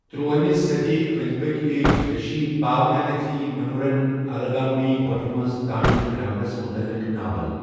تُرٛوٲہمہِ صٔدی انٛدۍ پٔکۍ، لیٚچھ ریشی پاونانتھی منیورن الگامڈھی گۄپھہ منٛز تامل گرٛامرَس متعلق ناول۔